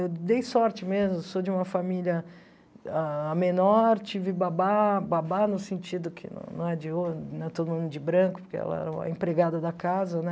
Eu dei sorte mesmo, sou de uma família menor ah, tive babá, babá no sentido que não é de ouro, não é todo mundo de branco, porque ela era a empregada da casa, né?